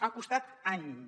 ha costat anys